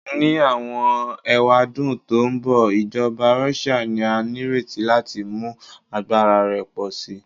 Ni awọn ewadun to nbọ, ijọba Russia ni a nireti lati mu agbara rẹ pọ si